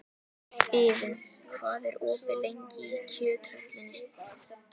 Iðunn, hvað er opið lengi í Kjöthöllinni?